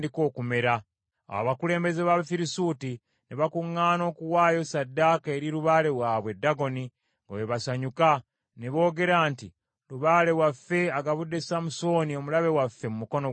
Awo abakulembeze b’Abafirisuuti ne bakuŋŋaana okuwaayo ssaddaaka eri lubaale waabwe Dagoni , nga bwe basanyuka. Ne boogera nti, “Lubaale waffe agabudde Samusooni omulabe waffe mu mukono gwaffe.”